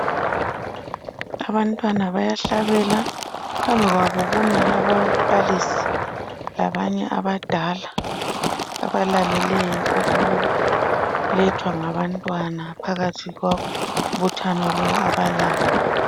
Abantwana bayahlabela, phambi kwabo kumi ababalisi labanye abadala abalaleleyo okulethwa ngabantwana phakathi kombuthano lo abalawo.